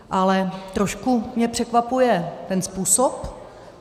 Ale trošku mě překvapuje ten způsob.